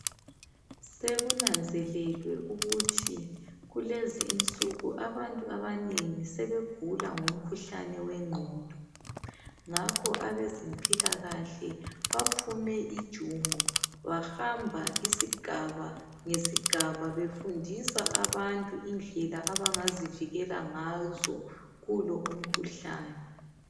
Sekunanzelelwe ukuthi kulezi insuku abantu abanengi sebegula ngomkhuhlane wegqondo. Ngakho abezempilakahle baphume ijumo bahamba isigaba ngesigaba befundisa abantu indlela abangazivikela ngazo kulo umkhuhlane.